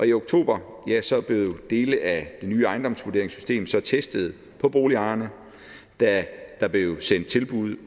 i oktober blev dele af det nye ejendomsvurderingssystem så testet på boligejerne da der blev sendt tilbud